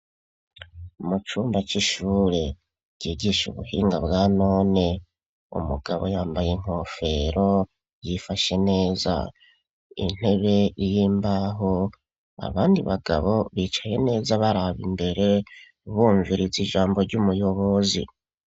Mucumba c'ishure ryigisha ubuhinga bwa none, Umugabo yambaye inkofero yifashe neza intebe y'imbaho abandi bagabo bicaye neza baraba imbere bumviriza ijambo ry'umuyobozi.